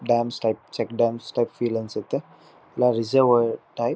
ಡಾಮ್ಸ್ step ಚಿಕ್ಕ dams step feel ಅನ್ನ್ಸುತ್ತೆ reservoir type .